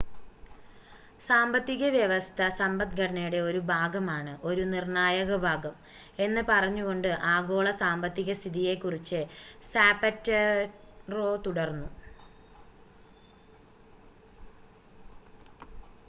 """സാമ്പത്തിക വ്യവസ്ഥ സമ്പദ്ഘടനയുടെ ഒരു ഭാഗമാണ് ഒരു നിർണ്ണായക ഭാഗം" എന്ന് പറഞ്ഞുകൊണ്ട് ആഗോള സാമ്പത്തിക സ്ഥിതിയെക്കുറിച്ച് സാപറ്റെറോ തുടർന്നു.